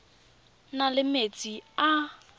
na le metsi a a